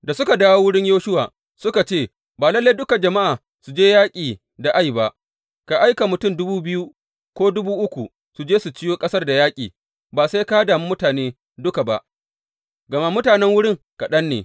Da suka dawo wurin Yoshuwa suka ce, Ba lalle dukan jama’a su je yaƙi da Ai ba, ka aika mutum dubu biyu ko dubu uku su je su ciwo ƙasar da yaƙi, ba sai ka dami mutane duka ba, gama mutanen wurin kaɗan ne.